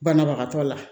Banabagatɔ la